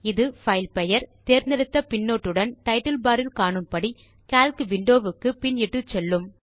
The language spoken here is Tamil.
இது பைல் பெயர் தேர்ந்தெடுத்த பின்னொட்டுடன் டைட்டில் பார் இல் காணும்படி கால்க் விண்டோ வுக்கு பின் இட்டுச்செல்லும்